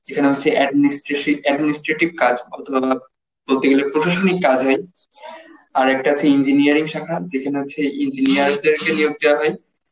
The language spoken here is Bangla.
যেখানে হচ্ছে administrasive, administrative কাজ প্রশাসনিক কাজ হয়. আর একটা আছে engineering শাখা যেখানে হচ্ছে engineer দের কে নিয়োগ দেয়া হয়,